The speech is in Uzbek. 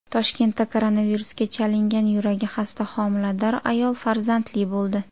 Toshkentda koronavirusga chalingan yuragi xasta homilador ayol farzandli bo‘ldi .